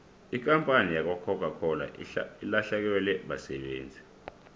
ikampani yakwacoca cola ilahlekelwe basebenzi